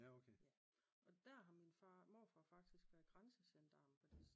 Og der har min far morfar faktisk været grænsegendarm